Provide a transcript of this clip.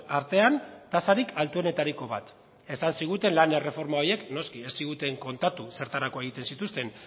artean tasarik altuenetariko bat esan ziguten lan erreforma horiek noski ez ziguten kontatu zertarako egiten zituzten